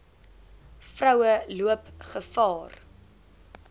vroue loop gevaar